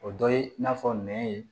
O dɔ ye n'a fɔ nɛn ye